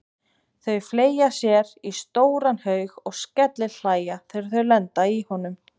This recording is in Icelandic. Þau fleygja sér í stóran haug og skellihlæja þegar þau lenda í honum.